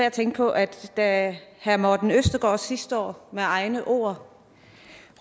at tænke på at at herre morten østergaard sidste år med egne ord